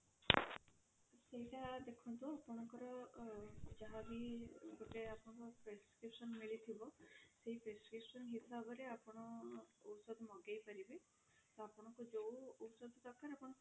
ସେଇଟା ଦେଖନ୍ତୁ ଆପଣଙ୍କର ଅ ଯାହା ବି ଗୋଟେ ଆପଣ prescription ମିଳିଥିବ ସେଇ prescription ହିସାବରେ ଆପଣ ଔଷଧ ମଗେଇ ପାରିବେ ତ ଆପଣଙ୍କୁ ଯୋଉ ଔଷଧ ଦରକାର ଆପଣ